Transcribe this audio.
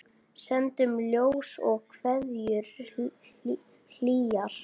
Sendum ljós og kveðjur hlýjar.